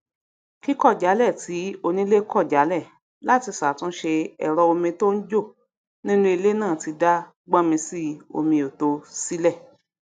kíkọjálẹ tí onílé kọjálẹ láti sàtúnṣe ẹrọ omi tó ń jò nínú ilé náà ti dá gbónmisiomiòto sílẹ